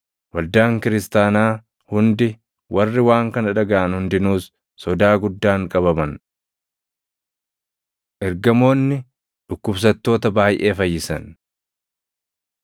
Waldaan kiristaanaa hundi, warri waan kana dhagaʼan hundinuus sodaa guddaan qabaman. Ergamoonni Dhukkubsattoota Baayʼee Fayyisan